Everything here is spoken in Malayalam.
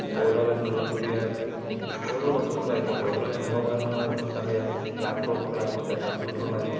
ഓരോ തരത്തലിലുള്ള പുതിയ ഓരോ വസ്‌തുക്കൾ ആയിക്കോട്ടെ ഓരോ യന്ത്രോപകരണങ്ങളും നമുക്ക് അറിയാം ലാപ്‌ടോപ്പുകൾ ആയിക്കോട്ടെ കമ്പ്യൂട്ടർ ആയിക്കോട്ടെ